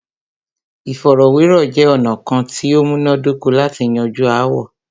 Ìfọ̀rọ̀wérọ̀ jẹ́ ọ̀nà kán tí o múná dóko lati yanju aáwọ̀.